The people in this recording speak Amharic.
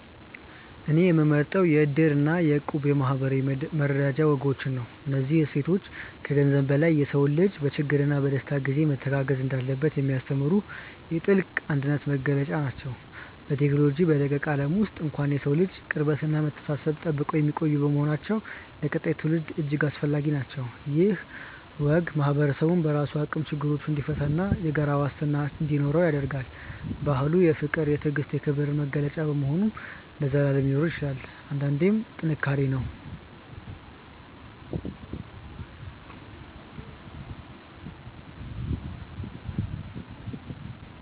እኔ የምመርጠው የ"እድር" እና የ"እቁብ" የማኅበራዊ መረዳጃ ወጎችን ነው። እነዚህ እሴቶች ከገንዘብ በላይ የሰው ልጅ በችግርና በደስታ ጊዜ መተጋገዝ እንዳለበት የሚያስተምሩ የጥልቅ አንድነት መገለጫዎች ናቸው። በቴክኖሎጂ በረቀቀ ዓለም ውስጥ እንኳን የሰውን ልጅ ቅርበትና መተሳሰብ ጠብቀው የሚቆዩ በመሆናቸው ለቀጣዩ ትውልድ እጅግ አስፈላጊ ናቸው። ይህ ወግ ማኅበረሰቡ በራሱ አቅም ችግሮችን እንዲፈታና የጋራ ዋስትና እንዲኖረው ያደርጋል። ባህሉ የፍቅር፣ የትዕግስትና የክብር መገለጫ በመሆኑ ለዘላለም ሊኖር ይገባል። አንድነት ጥንካሬ ነው።